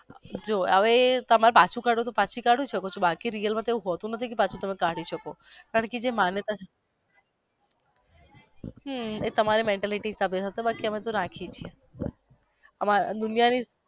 જો હવે એ તમારે પાછું કાઢવું હોય તો પાછું કાઢી શકો છો. બાકી real માં તો એવું હોતું નથી તમે પાછું કાઢી શકો. કારણ કે જે માન્યતા છે. હમમ. એ તમારી mentality હિસાબે બાકી અમે તો રાખીયે છીએ. અમારે દુનિયાની.